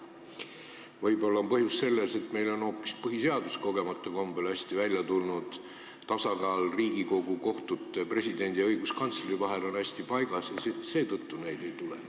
Võib-olla on põhjus selles, et meil on hoopis põhiseadus kogemata kombel hästi välja tulnud, tasakaal Riigikogu, kohtute, presidendi ja õiguskantsleri vahel on hästi paigas ja seetõttu neid vaidlusi ei ole.